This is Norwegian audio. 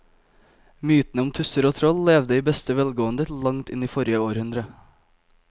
Mytene om tusser og troll levde i beste velgående til langt inn i forrige århundre.